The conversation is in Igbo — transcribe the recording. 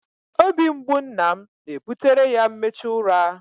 Obi mgbu nna m na-ebutere ya mmechu ụra.